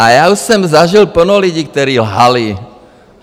A já už jsem zažil plno lidí, kteří lhali.